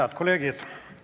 Head kolleegid!